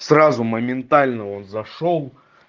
сразу моментально он зашёл